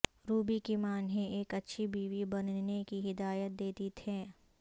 روبی کی ماں انہیں ایک اچھی بیوی بننے کی ہدایت دیتی تھیں